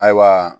Ayiwa